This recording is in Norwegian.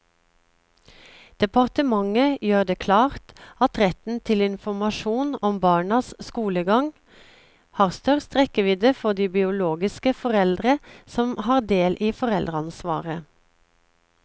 Departementet gjør det klart at retten til informasjon om barnas skolegang, har størst rekkevidde for de biologiske foreldre som har del i foreldreansvaret.